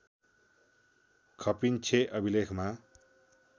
खपिन्छें अभिलेखमा